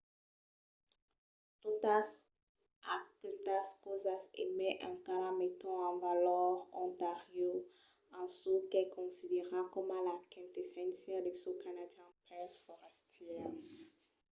totas aquestas causas e mai encara meton en valor ontario en çò qu’es considerat coma la quintesséncia de çò canadian pels forastièrs